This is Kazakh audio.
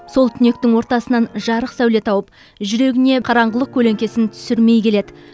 сол түнектің ортасынан жарық сәуле тауып жүрегіне қараңғылық көлеңкесін түсірмей келеді